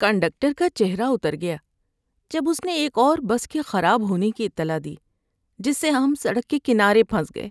Conductor کا چہرہ اتر گیا جب اس نے ایک اور بس کے خراب ہونے کی اطلاع دی، جس سے ہم سڑک کے کنارے پھنس گئے۔